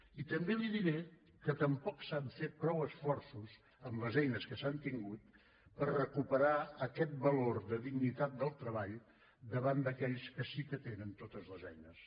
i també li diré que tampoc s’han fet prou esforços amb les eines que s’han tingut per recuperar aquest valor de dignitat del treball davant d’aquells que sí que tenen totes les eines